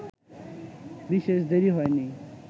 বিশেষ দেরি হয়নি